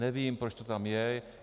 Nevím, proč to tam je.